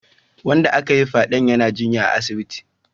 Wanda aka yiwa fyaden yana jinya a asibiti